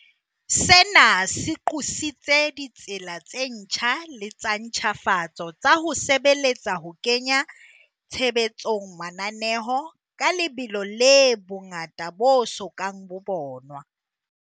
Sena se qositse ditsela tse ntjha le tsa ntjhafatso tsa ho sebeletsa ho kenya tshebetsong mananeo ka lebelo le bongata bo so kang bo bonwa.